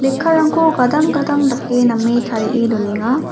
lekkarangko gadang gadang dake name tarie donenga.